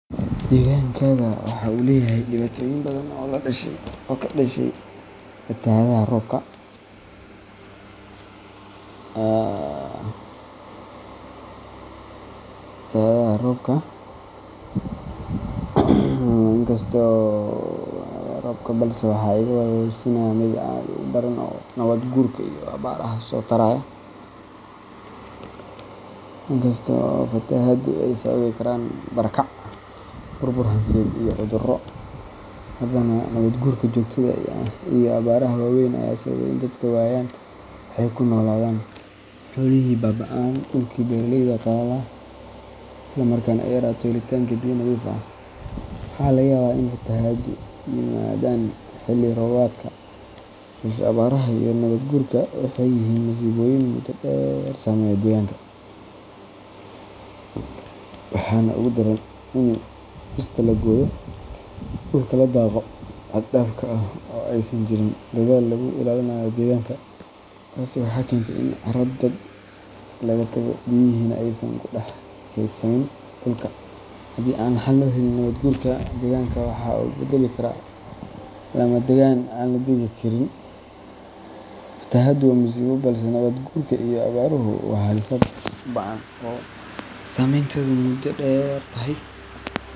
Degankayga waxa uu leeyahay dhibaatooyin badan oo ka dhashay fatahaadaha roobabka, balse waxa iga walwalsiinaya mid aad uga daran oo ah nabaad guurka iyo abaaraha isa soo taraya. In kasta oo fatahaaduhu ay sababi karaan barakac, burbur hantiyeed, iyo cudurro, haddana nabaad guurka joogtada ah iyo abaaraha waaweyn ayaa sababay in dadku waayaan wax ay ku noolaadaan, xoolihii baab’aan, dhulkii beeraleyda qalalo, isla markaana ay yaraato helitaanka biyo nadiif ah. Waxaa laga yaabaa in fatahaaduhu yimaadaan xilli roobaadka, balse abaaraha iyo nabaad guurku waxay yihiin masiibooyin muddo dheer saameeya deegaanka. Waxaana ugu daran in dhirtii la gooyo, dhulkii la daaqo xad dhaaf ah, oo aysan jirin dadaal lagu ilaalinayo deegaanka. Taasi waxay keentay in carro daad la tago, biyihiina aysan ku dhex kaydsamin dhulka. Haddii aan xal loo helin nabaad guurka, deegaanka waxa uu isu beddeli karaa lamadagaan aan la deggan karin. Fatahaaddu waa musiibo, balse nabaad guurka iyo abaaruhu waa halis aad u ba’an oo saameynteedu muddo dheer tahay.